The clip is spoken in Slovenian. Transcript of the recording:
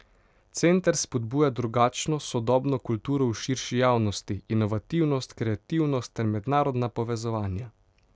Center spodbuja drugačno, sodobno kulturo v širši javnosti, inovativnost, kreativnost ter mednarodna povezovanja.